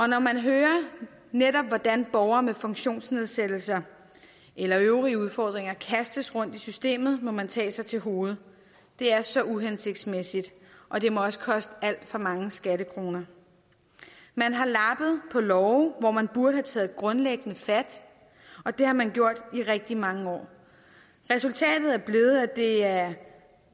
når man hører netop hvordan borgere med funktionsnedsættelser eller øvrige udfordringer kastes rundt i systemet må man tage sig til hovedet det er så uhensigtsmæssigt og det må også koste alt for mange skattekroner man har lappet på love hvor man burde have taget grundlæggende fat og det har man gjort i rigtig mange år resultatet er blevet at det er